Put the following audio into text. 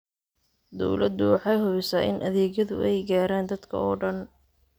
Dawladdu waxay hubisaa in adeegyadu ay gaaraan dadka oo dhan.